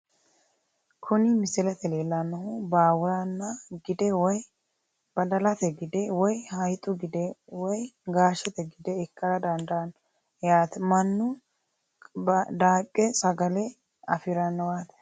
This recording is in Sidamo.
Kuni misilete leelanohu baawuranaa gide woyi badalate gide woyi hayixu gide woyi gaashete gide ikara dandaano yaate manu daaqe sagagale afiranowati.